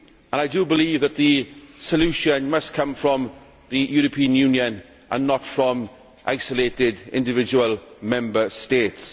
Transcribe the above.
I believe the solution must come from the European Union and not from isolated, individual Member States.